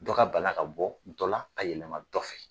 Dɔ ka bana ka bɔ dɔ la ka yɛlɛma dɔ fɛ.